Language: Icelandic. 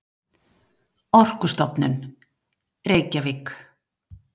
Orkustofnun, Reykjavík.